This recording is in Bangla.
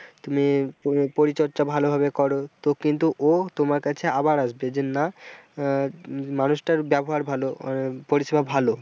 তুমি পরিচর্যা ভালোভাবে করো তো কিন্তু ও তোমার কাছে আবার আসবে যে না আহ মানুষটার ব্যবহার ভালো আহ পরিষেবা ভালো।